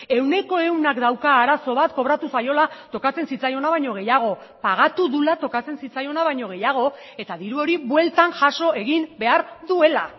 ehuneko ehunak dauka arazo bat kobratu zaiola tokatzen zitzaiona baino gehiago pagatu duela tokatzen zitzaiona baino gehiago eta diru hori bueltan jaso egin behar duela